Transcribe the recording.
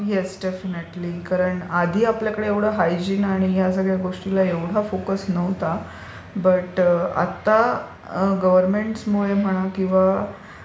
Yes, definitely. कारण आपल्याकडे आधी हायजिन आणि या सगळ्या गोष्टींना एवढा फोकस नव्हता. बट आता गव्हर्नमेंट मुळे म्हणा किंवा